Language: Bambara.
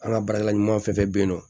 An ka baarakɛla ɲumanw fɛn fɛn be yen nɔ